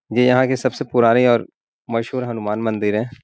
ये यहाँ के सबसे पुराने और मशहूर हनुमान मंदिर है।